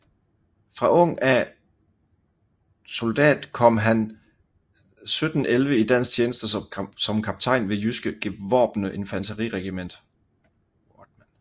Fra ung af soldat kom han 1711 i dansk tjeneste som kaptajn ved jyske gevorbne Infanteriregiment